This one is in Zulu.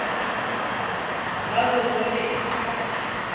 ngazo zonke izikhathi